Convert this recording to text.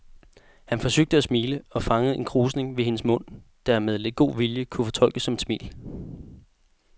Han forsøgte at smile og fangede en krusning ved hendes mund, der med lidt god vilje kunne fortolkes som et smil.